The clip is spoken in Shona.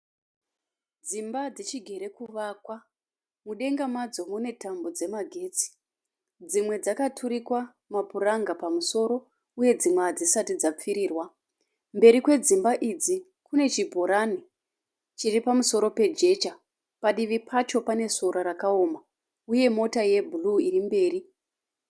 Dzimba dzichigere kuvakwa. Mudenga madzo mune tambo dzemagetsi. Dzimwe dzakaturikwa mapuranga pamusoro uye dzimwe hadzisati dzapfirirwa. Mberi kwedzimba idzi kune chibhorani chiri pamusoro pejecha. Padivi pacho pane sora rakaoma uye mota yebhuruu irikumberi.